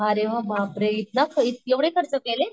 अरे बापरे इतका ख ,एवढे इतके खर्च केले?